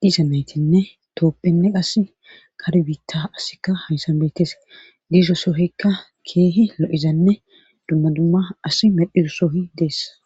dizameytinne toophenne as kare bitta asika hayssan beetes diisho sohikka keehi lo7izanne dumma dumma asi medhiro soohi deess.